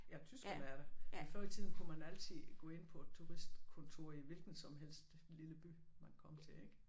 Ja tyskerne er der men før i tiden kunne man altid gå ind på et turistkontor i hvilken som helst lille by man kom til ikke